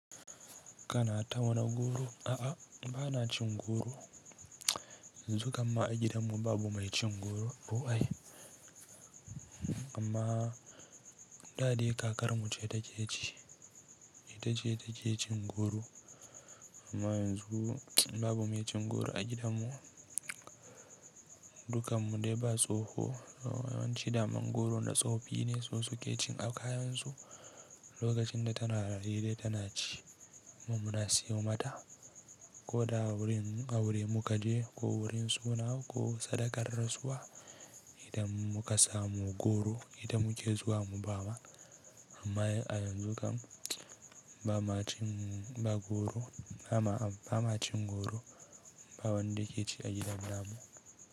Kana tauna goro a a ba na ci goro. Yanzu kam ma a gidanmu babu mai ci goro. Ooh aye amma dade kakarmu ce ta ke ci, ita ce ta ke cin goro. Amma yanzu babu mai cin goro a gidanmu. Dukan mu dai ba tsoho, yawanci daman goro na tsofi ne su suke cin akayansu lokacin da tana raye da tana ci. Mu muna siyo mata ko da a wurin, a wurin mu ka je ko wurin suna ko sadakar rasuwa idan muka samu goro, ita mu ke zuwa mu bawa. Amma a yanzu kam ba ma cin, ba goro ba ma, ba ma cin goro, ba wanda yake ci a gidanmu.